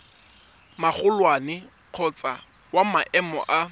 magolwane kgotsa wa maemo a